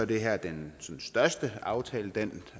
det her den største aftale den